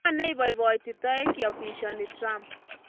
Ngo neipopoiti taek kiapishani Trump?